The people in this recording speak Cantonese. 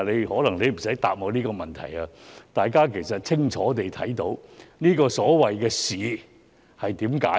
可能你也無需答覆我這項質詢，大家已清楚看到這個所謂的"試"是怎樣的。